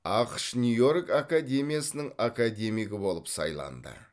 ақш нью йорк академиясының академигі болып сайланды